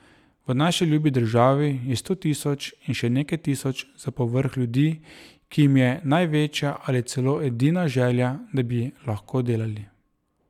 V naši ljubi državi je sto tisoč in še nekaj tisoč za povrh ljudi, ki jim je največja ali celo edina želja, da bi lahko delali.